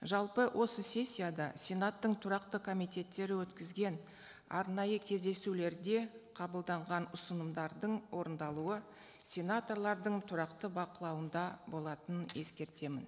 жалпы осы сессияда сенаттың тұрақты комитеттері өткізген арнайы кездесулерде қабылданған ұсынымдардың орындалуы сенаторлардың тұрақты бақылауында болатының ескертемін